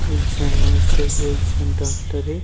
एक झन नर्स हे एक झन डॉक्टर हे ।